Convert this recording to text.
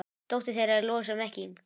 Dóttir þeirra er Lovísa Mekkín.